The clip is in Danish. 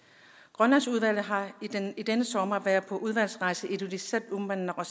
grønlandsudvalget har i denne sommer været på udvalgsrejse til ilulissat uummannaq og